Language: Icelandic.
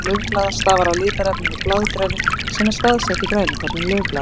grænn litur laufblaða stafar af litarefninu blaðgrænu sem er staðsett í grænukornum laufblaðanna